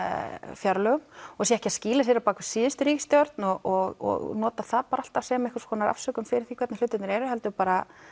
fjárlögum og sé ekki að skýla sér á bakvið síðustu ríkisstjórn og nota það bara alltaf sem einhverja afsökun fyrir því hvernig hlutirnir eru heldur bara